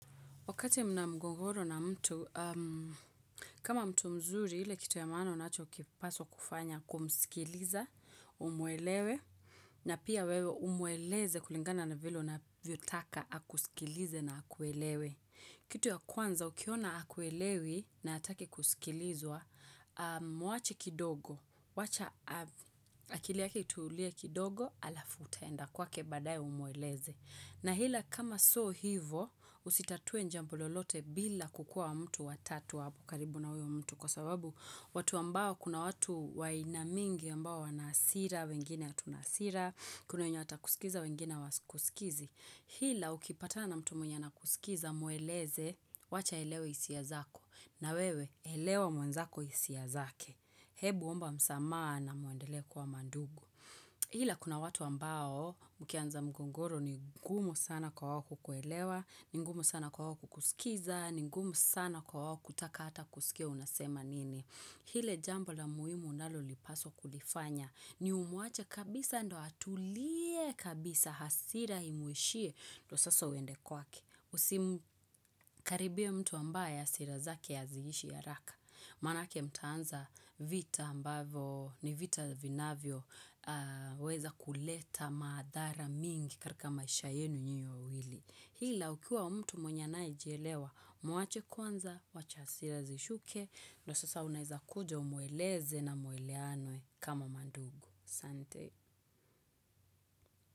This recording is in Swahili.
Wakati mna mgogoro na mtu, kama mtu mzuri ile kitu ya maana unacho kipaswa kufanya kumskiliza, umwelewe, na pia wewe umweleze kulingana na vile unavyo taka akusikilize na akuelewe. Kitu ya kwanza, ukiona hakuelewi na hataki kusikilizwa, mwache kidogo, wacha akili yake itulie kidogo alafu utaenda kwake baadaye umweleze. Na ila kama sio hivo usitatue jambo lolote bila kukua mtu watatu hapo karibu na huyo mtu kwa sababu watu ambao kuna watu wa aina mingi ambao wana hasira, wengine hatuna hasira, kuna wenye watakusikiza, wengine hawakusikizi. Ila ukipatana mtu mwenye anakusikiza mweleze wacha aelewe hisia zako na wewe elewa mwenzako hisia zake. Hebu omba msamaha na mwendele kuwa mandugu. Ila kuna watu ambao mkianza mgogoro ni ngumu sana kwa wao kukuelewa, ni ngumu sana kwa wao kusikiza, ni ngumu sana kwa wao kutaka hata kusikia unasema nini. Ile jambo la muhimu unalolipaswa kulifanya. Ni umwache kabisa ndo atulie kabisa hasira imwishie. Ndo sasa uende kwake. Usikaribie mtu ambaye hasira zake haziihishi haraka. Maanake mtaanza vita ambavyo ni vita vinavyoweza kuleta madhara mingi katika maisha yenu nyinyi wawili. Ila ukiwa mtu mwenye anayejielewa, mwache kwanza, wacha hasira zishuke, ndo sasa unaweza kuja umweleze na mwelewane kama mandugu. aSante.